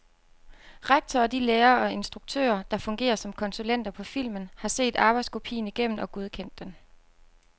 Rektor og de lærere og instruktører, der fungerer som konsulenter på filmen, har set arbejdskopien igennem og godkendt den.